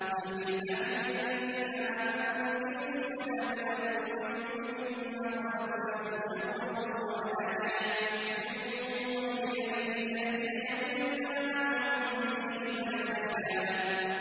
قُل لِّعِبَادِيَ الَّذِينَ آمَنُوا يُقِيمُوا الصَّلَاةَ وَيُنفِقُوا مِمَّا رَزَقْنَاهُمْ سِرًّا وَعَلَانِيَةً مِّن قَبْلِ أَن يَأْتِيَ يَوْمٌ لَّا بَيْعٌ فِيهِ وَلَا خِلَالٌ